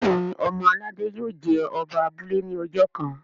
Béèni ọmọ aládé yio jé Oba abúlé ní ojó kán.